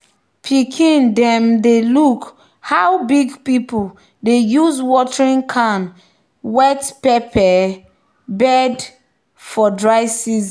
"pikin dem dey look how big people dey use watering can wet pepper bed for dry season."